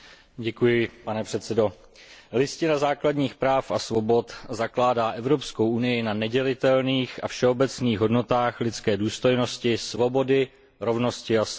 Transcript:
Pane předsedající, Listina základních práv a svobod zakládá Evropskou unii na nedělitelných a všeobecných hodnotách lidské důstojnosti, svobody, rovnosti a solidarity.